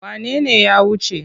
Wane ne ya wuce?